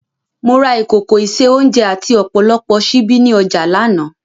Mo ra ìkòkò ìse-oúnjẹ àti ọ̀pọ̀lọpọ̀ ṣíbí ní ọjà lánàá